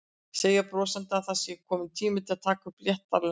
Segir brosandi að það sé kominn tími til að taka upp léttara hjal.